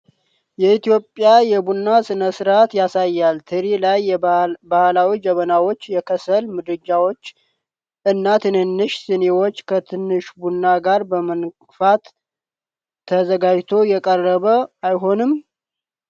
የኢትዮጵያ የቡና ሥነ-ሥርዓትን ያሳያል፤ ትሪ ላይ ባህላዊ ጀበናዎች፣ የከሰል ምድጃው እና ትንንሽ ስኒዎች ከትንሽ ቡና ጋር በመንፋት ተዘጋጅቶ የቀረበ አይሆንም?